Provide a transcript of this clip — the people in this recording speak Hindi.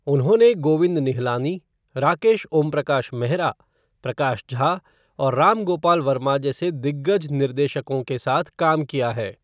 उन्होंने गोविंद निहलानी, राकेश ओमप्रकाश मेहरा, प्रकाश झा और राम गोपाल वर्मा जैसे दिग्गज निर्देशकों के साथ काम किया है।